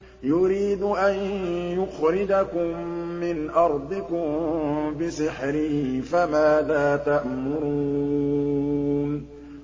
يُرِيدُ أَن يُخْرِجَكُم مِّنْ أَرْضِكُم بِسِحْرِهِ فَمَاذَا تَأْمُرُونَ